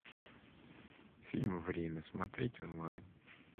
фильм время смотреть онлайн